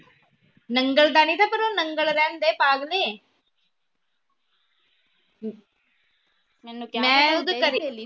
ਨੰਗਲ ਦਾ ਨਹੀਂ ਥਾ ਪਰ ਉਹ ਨੰਗਲ ਰਹਿੰਦੇ ਪਾਗਲੇ